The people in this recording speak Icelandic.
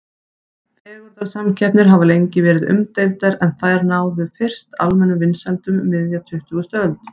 Fegurðarsamkeppnir hafa lengi verið umdeildar en þær náðu fyrst almennum vinsældum um miðja tuttugustu öld.